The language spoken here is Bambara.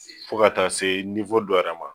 Fo ka taa se dɔ yɛrɛ ma